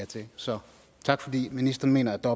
til så tak fordi ministeren mener at der